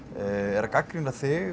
er að gagnrýna þig